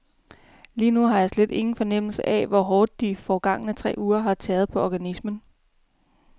Lige nu har jeg slet ingen fornemmelse af, hvor hårdt de forgangne tre uger har tæret på organismen.